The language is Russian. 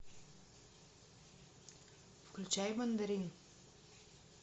включай мандарин